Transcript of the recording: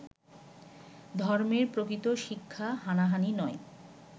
ধর্মের প্রকৃত শিক্ষা হানাহানি নয়